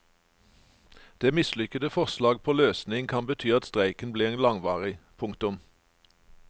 Det mislykkede forslag på løsning kan bety at streiken blir langvarig. punktum